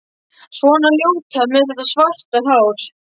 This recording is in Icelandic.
Svona ljóta með þetta svarta hár.